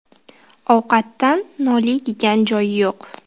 Ovqatdan noliydigan joyi yo‘q.